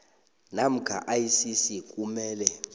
namkha icc kumele